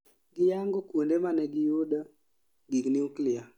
Giyango kuonde manegi yudo gig nuklia